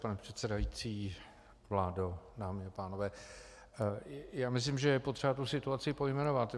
Pane předsedající, vládo, dámy a pánové, já myslím, že je potřeba tu situaci pojmenovat.